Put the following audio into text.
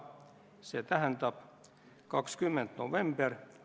Läheme hääletusprotseduuri juurde, palun!